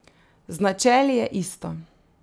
Z načeli je isto.